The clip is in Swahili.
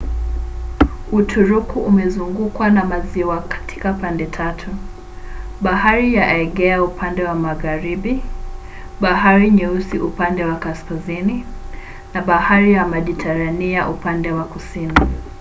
uturuki imezungukwa na maziwa katika pande tatu: bahari ya aegea upande wa magharibi bahari nyeusi upande wa kaskazini na bahari ya mediterania upande wa kusini